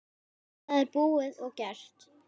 Það er búið og gert.